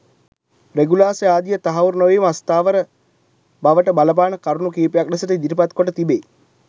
රෙගුලාසි ආදිය තහවුරු නොවීම අස්ථාවර බවට බලපාන කරුණු කීපයක් ලෙසට ඉදිරිපත් කොට තිබේ.